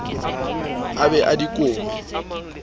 a be a di kome